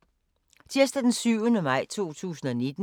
Tirsdag d. 7. maj 2019